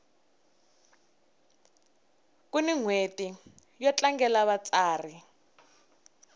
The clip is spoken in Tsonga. kuni nhweti yo tlangela vatsari